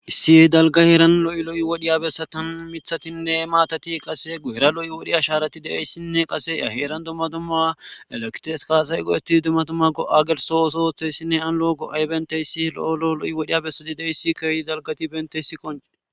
Issi dalga heeran lo'i lo'i wodhiya bessatan mithatinne maatati qassi guyera lo'i wodhiya asharati de'ayissinne qasse a heeran dumma dumma eleritike asay goe'etti dumma dumma go'a geliso ooso oththayissinne han lo'o go'ay banita issi lo'o lo'i wodhiya bessati diyossa kiyyidi dalgati banita issi qonccisisada.